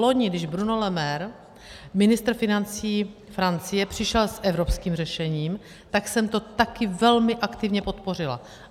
Loni, když Bruno Le Maire, ministr financí Francie, přišel s evropským řešením, tak jsem to taky velmi aktivně podpořila.